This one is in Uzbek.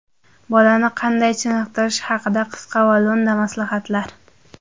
Bolani qanday chiniqtirish haqida qisqa va lo‘nda maslahatlar.